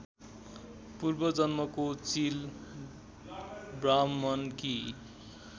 पूर्वजन्मको चिल ब्राह्मणकी